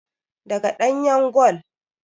Daga ɗanyan gol